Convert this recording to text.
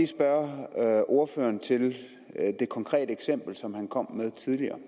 spørge ordføreren til det konkrete eksempel som han kom med tidligere